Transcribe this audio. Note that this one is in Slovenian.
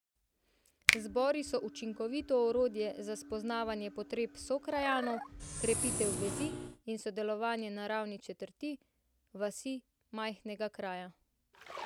Zbori so učinkovito orodje za spoznavanje potreb sokrajanov, krepitev vezi in sodelovanje na ravni četrti, vasi, majhnega kraja.